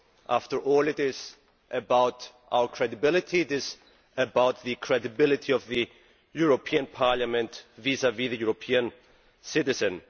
After all, it is about our credibility the credibility of the European Parliament vis vis the European citizen.